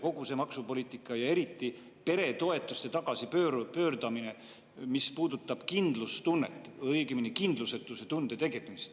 Kogu see maksupoliitika ja eriti peretoetuste tagasipööramine puudutab kindlustunnet, õigemini tekitab kindlusetuse tunde.